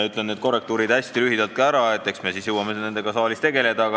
Ütlen need korrektiivid hästi lühidalt ära ka, eks me siis jõuame nendega saalis tegeleda.